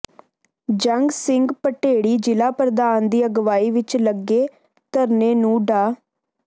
ਜੰਗ ਸਿੰਘ ਭਟੇੜੀ ਜ਼ਿਲ੍ਹਾ ਪ੍ਰਧਾਨ ਦੀ ਅਗਵਾਈ ਵਿਚ ਲੱਗੇ ਧਰਨੇ ਨੂੰ ਡਾ